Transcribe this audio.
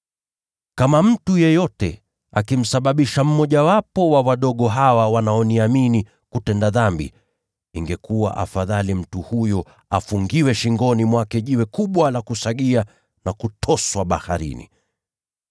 “Kama mtu yeyote akimsababisha mmojawapo wa wadogo hawa wanaoniamini kutenda dhambi, ingekuwa bora kwake afungiwe jiwe kubwa la kusagia shingoni mwake, na kutoswa baharini.